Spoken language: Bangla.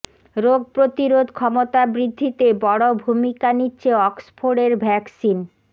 রোগ প্রতিরোধ ক্ষমতা বৃদ্ধিতে বড় ভূমিকা নিচ্ছে অক্সফোর্ডের ভ্যাকসিন